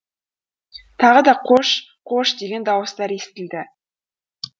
тағы да қош қош деген дауыстар естілді